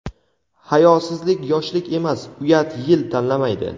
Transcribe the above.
Hayosizlik yoshlik emas, uyat yil tanlamaydi.